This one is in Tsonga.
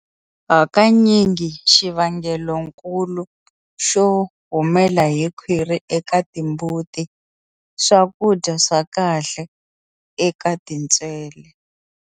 Hakanyingi xivangeloikulu xo humela hi khwiri eka timbuti swakudya swa kahle eka tintswele.